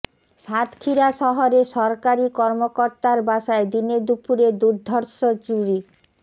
সাতক্ষীরা শহরে সরকারি কর্মকর্তার বাসায় দিনে দুপুরে দুর্ধর্ষ চুরি